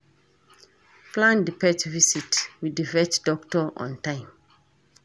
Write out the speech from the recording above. Plan di pet visit with di vet doctor on time